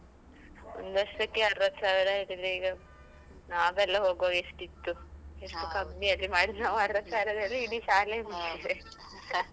ಒಂದ್ ವರ್ಷಕ್ಕೆ ಅರ್ವತ್ತ್ ಸಾವಿರ ಹೇಳಿದ್ರೆ ಈಗ, ನಾವೆಲ್ಲಾ ಹೋಗ್ವಾಗ ಎಷ್ಟಿತ್ತು. ಎಷ್ಟು ಕಮ್ಮಿಯಲ್ಲಿ ಮಾಡಿ, ನಾವು ಅರ್ವತ್ತು ಸಾವ್ರದಲ್ಲಿ, ಇಡೀ ಶಾಲೆಯೇ ಮುಗಿಸಿದ್ದೇವೆ